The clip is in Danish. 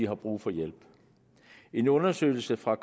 har brug for hjælp en undersøgelse fra